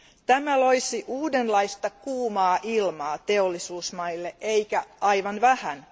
Tämä loisi uudenlaista kuumaa ilmaa teollisuusmaille eikä aivan vähän.